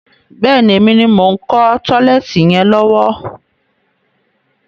Bẹ́ẹ̀ni, èmi ni mo ń kọ́ tọ́lẹ́ẹ́tì yẹn lọ́wọ́.